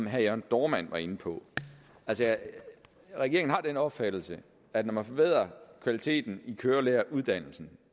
herre jørn dohrmann var inde på regeringen har den opfattelse at når man forbedrer kvaliteten af kørelæreruddannelsen